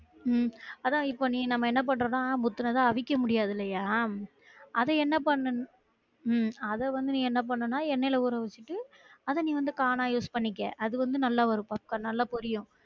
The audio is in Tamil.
உம் அதான் இப்ப நீ நம்ம என்ன பண்றோம் நா முத்துனத அவிக்க முடியாது இல்லையா உம் அத வந்து என்ன அத வந்து என்ன பண்ணனும்னா எண்ணெய்ல உறவச்சுட்டு அத வந்து corn use பண்ணிக்கலாம் அது வந்து நல்லா ஒரு